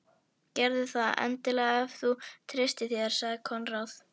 Gerðu það endilega ef þú treystir þér, sagði Konráð.